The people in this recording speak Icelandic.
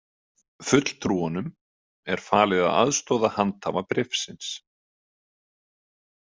Fulltrúunum er falið að aðstoða handhafa bréfsins